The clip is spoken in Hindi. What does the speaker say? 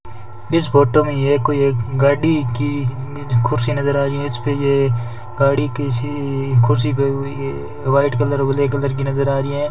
इस फोटो में ये कोई एक गाड़ी की इमेज खुर्सी नजर आ रही है इसपे ये गाड़ी कैसीइ कुर्सी पे हुई है व्हाइट कलर ब्लैक कलर की नजर आ रीं है।